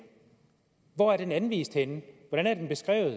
hvor er den anvist henne hvordan er den beskrevet